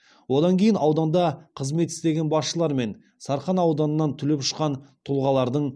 одан кейін ауданда қызмет істеген басшылар мен сарқан ауданынан түлеп ұшқан тұлғалардың